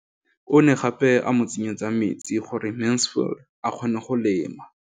O ne gape a mo tsenyetsa metsi gore Mansfield a kgone go lema.